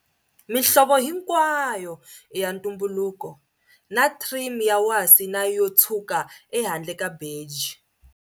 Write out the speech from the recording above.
Mihlovo hinkwayo i ya ntumbuluko, na trim ya wasi na yo tshwuka ehandle ka beji.